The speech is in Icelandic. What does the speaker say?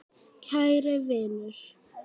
Kæri vinur.